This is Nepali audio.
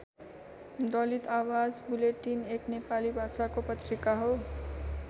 दलित आवाज वुलेटिन एक नेपाली भाषाको पत्रिका हो।